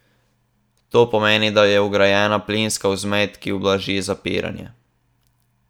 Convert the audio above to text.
To pomeni, da je vgrajena plinska vzmet, ki ublaži zapiranje.